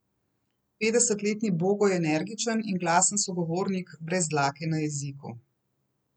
Petdesetletni Bogo je energičen in glasen sogovornik brez dlake na jeziku.